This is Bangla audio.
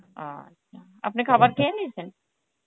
ও, আপনি খাবার খেয়ে নিয়েছেন?